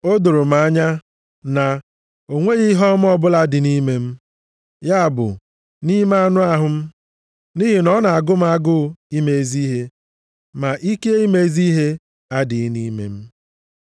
O doro m anya na o nweghị ihe ọma ọbụla dị nʼime m, ya bụ nʼime anụ ahụ m. Nʼihi na ọ na-agụ m agụụ ime ezi ihe, ma ike ime ezi ihe adịghị nʼime m.